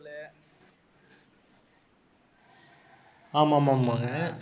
ஆமாமாமாம்ங்க.